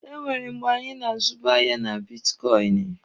Enwere mgbe anyị na-azubu ahịa na bitkọịnị.